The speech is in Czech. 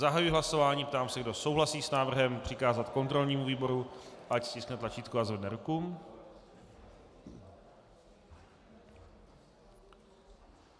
Zahajuji hlasování, ptám se, kdo souhlasí s návrhem přikázat kontrolnímu výboru, ať stiskne tlačítko a zvedne ruku.